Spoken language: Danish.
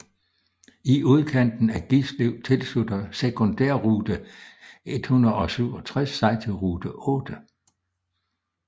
I udkanten af Gislev tilslutter sekundærrute 167 sig til rute 8